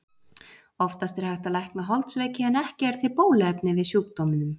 Oftast er hægt að lækna holdsveiki en ekki er til bóluefni við sjúkdómnum.